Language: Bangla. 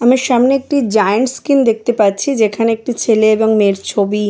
আমার সামনে একটি জায়ান্ট স্ক্রিন দেখতে পাচ্ছি যেখানে একটি ছেলে এবং মেয়ের ছবি-ই।